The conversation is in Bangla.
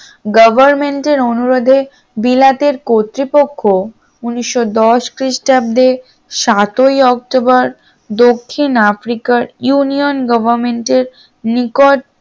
government এর অনুরোধে বিলাতের কর্তৃপক্ষ উনিশশ দশ খ্রিস্টাব্দে সাত ই অক্টোবর দক্ষিণ আফ্রিকার union government এর নিকট